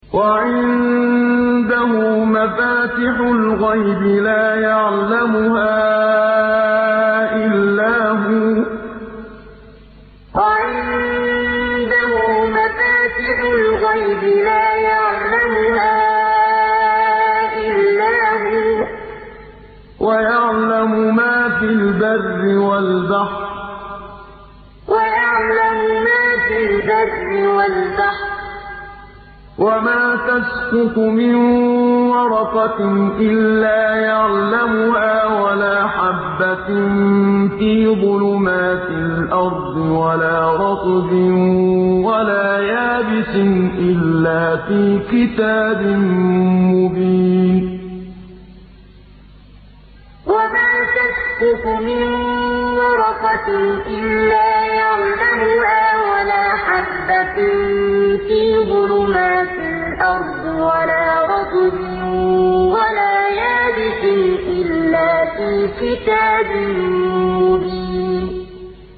۞ وَعِندَهُ مَفَاتِحُ الْغَيْبِ لَا يَعْلَمُهَا إِلَّا هُوَ ۚ وَيَعْلَمُ مَا فِي الْبَرِّ وَالْبَحْرِ ۚ وَمَا تَسْقُطُ مِن وَرَقَةٍ إِلَّا يَعْلَمُهَا وَلَا حَبَّةٍ فِي ظُلُمَاتِ الْأَرْضِ وَلَا رَطْبٍ وَلَا يَابِسٍ إِلَّا فِي كِتَابٍ مُّبِينٍ ۞ وَعِندَهُ مَفَاتِحُ الْغَيْبِ لَا يَعْلَمُهَا إِلَّا هُوَ ۚ وَيَعْلَمُ مَا فِي الْبَرِّ وَالْبَحْرِ ۚ وَمَا تَسْقُطُ مِن وَرَقَةٍ إِلَّا يَعْلَمُهَا وَلَا حَبَّةٍ فِي ظُلُمَاتِ الْأَرْضِ وَلَا رَطْبٍ وَلَا يَابِسٍ إِلَّا فِي كِتَابٍ مُّبِينٍ